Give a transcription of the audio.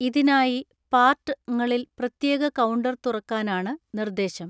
ഇതിനായി പാർട്ട് ങ്ങളിൽ പ്രത്യേക കൗണ്ടർ തുറക്കാനാണ് നിർദ്ദേശം.